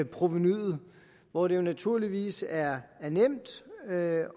provenuet hvor det jo naturligvis er nemt at